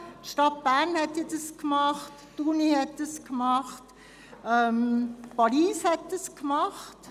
Die Stadt Bern, die Universität und Paris haben es gemacht.